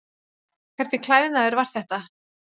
Hvernig klæðnaður var þetta?